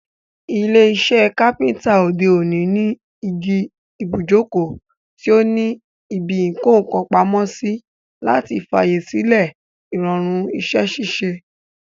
Ilé isẹ́ Kápẹ́ńtà òde òní ní igi ibùjókòó tí o ní ibi ìkókàn pamósí, láti fàyè sílẹ̀ ìrọ̀rùn isẹ́ ṣíṣe,